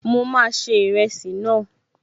Mo máa se ìrẹsì náà